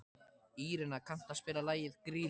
Írena, kanntu að spila lagið „Grýla“?